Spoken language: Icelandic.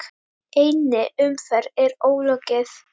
Einni umferð er ólokið.